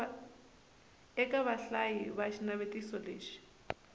eka vahlayi va xinavetiso lexi